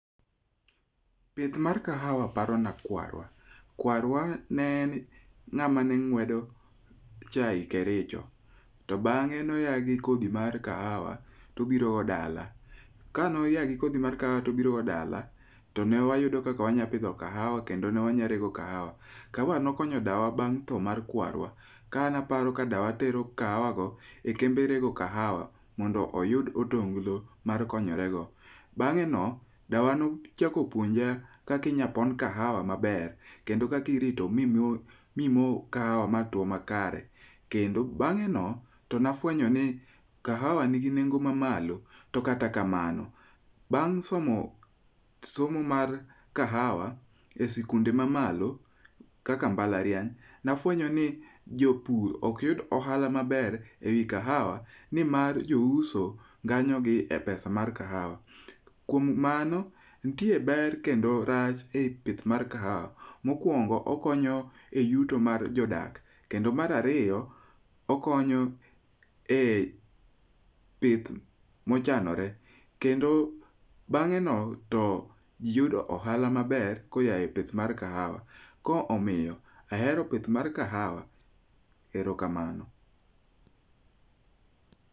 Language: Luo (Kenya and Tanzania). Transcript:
Pith mar kahawa parona kwarwa. Kwarwa ne en ng'ama ne ng'wedo chae Kericho. To bang'e ne oa gi kodhi mar kahawa to obirogo dala. Kane oa gi kodhi mar kahawa to obirogo dala, to ne wayudo kaka wanyalo pidho kahawa kende ne wanyalo rego kahawa. Kahawa ne okonyo dawa bang' tho mar kwarwa, kane aparo kaka dawa ne tero kahawago e kembe rego kahawa mondo oyud otonglo ma okonyorego. Bang'eno dawa nochako puonja kaka inyalo pon kahawa maber kendo kaka irito mimo kahawa matwo makare. Kendo bang'e no, to ne afuenyo ni kahawa nigi nengo mamalo. To kata kamano bang' somo somo mar kahawa esikunde ma malo, kaka mbalariany, ne afuenyo ni jopur ok yud ohala maber ewi kahawa nimar jouso nganyogi e pesa mar kahawa. Kuom mano, nitire ber kendo rach e pith mar kahawa. Mokuongo, okonyo e yuto mar jodak. Kendo mar ariyo, okonyo e pith mochanore kendo bang'e no to ji yudo ohala maber koa e pith mar kahawa. Koro omiyo ahero pith mar kahawa. Erokamano.